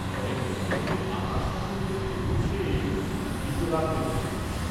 কয়েক দিন হইতে আহার সম্বন্ধে প্রভুর সে এইরূপ বীতরাগ দেখিতেছে।